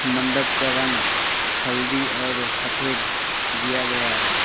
मंडप का रंग हल्दी और सफेद दिया गया है।